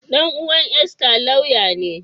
Ɗan’uwan Esther lauya ne.